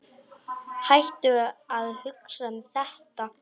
Hættu að hugsa um þetta.